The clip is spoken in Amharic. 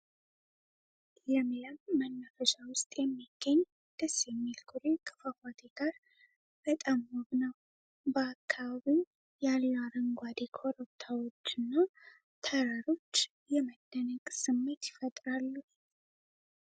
ለምለም መናፈሻ ውስጥ የሚገኝ ደስ የሚል ኩሬ ከፏፏቴ ጋር በጣም ውብ ነው። በአካባቢው ያሉ አረንጓዴ ኮረብታዎችና ተራሮች የመደነቅ ስሜት ይፈጥራሉ።